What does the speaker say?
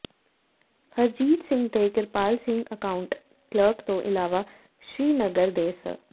ਹਰਜੀਤ ਸਿੰਘ ਤੇ Kirpal Singh account clerk ਤੋਂ ਇਲਾਵਾ ਸ੍ਰੀਨਗਰ ਦੇ ਸ